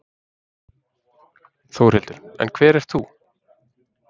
Þórhildur: En hver ert þú?